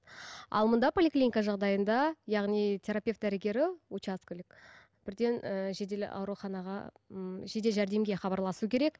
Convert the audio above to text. ал мұнда поликлиника жағдайында яғни терапевт дәрігері учаскелік бірден ііі жедел ауруханаға ммм жедел жәрдемге хабарласу керек